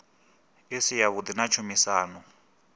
i si yavhuḓi na tshumisano